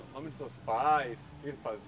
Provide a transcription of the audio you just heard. O nome dos seus pais, o que eles